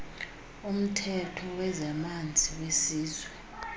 umthetho wezamanzi wesizwe